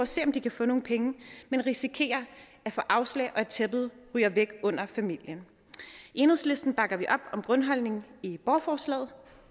se om de kan få nogle penge men risikerer at få afslag og at tæppet ryger væk under familien i enhedslisten bakker vi op om grundholdningen i borgerforslaget